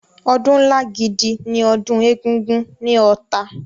Ọdún ńlá gidi ni ọdún Egúngún ní Ọ̀tà.